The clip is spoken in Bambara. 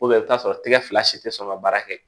i bi t'a sɔrɔ tɛgɛ fila si tɛ sɔn ka baara kɛ